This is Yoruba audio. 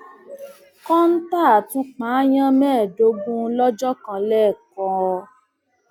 kọńtà tún pààyàn mẹẹẹdógún lọjọ kan lẹkọọ